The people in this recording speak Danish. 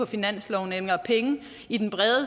finansloven og penge i den